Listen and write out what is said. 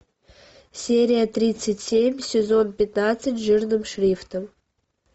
серия тридцать семь сезон пятнадцать жирным шрифтом